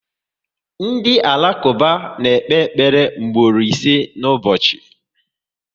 Ndị Alakuba na ekpe ekpere mgboro ise na ụbọchị